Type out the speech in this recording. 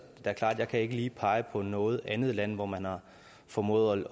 da klart at jeg ikke lige kan pege på noget andet land hvor man har formået